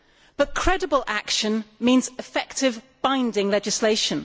But credible action means effective, binding legislation.